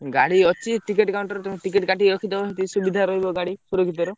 ଗାଡି ଅଛି ticket counter ରୁ ticket କାଟିକି ରଖିଦବ ସୁବିଧାରେ ରହିବ ଗାଡି ସୁରକ୍ଷିତ ର।